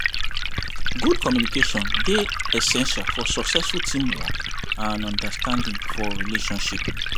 Good communication dey essential for successful teamwork and understanding for relationship.